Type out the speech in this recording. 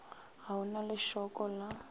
ga o na lešoko la